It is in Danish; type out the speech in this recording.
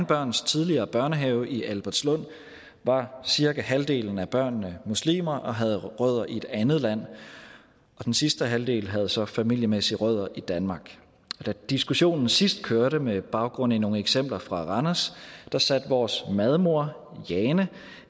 børns tidligere børnehave i albertslund var cirka halvdelen af børnene muslimer og havde rødder i et andet land og den sidste halvdel havde så familiemæssige rødder i danmark da diskussionen sidst kørte med baggrund i nogle eksempler fra randers satte vores madmor jane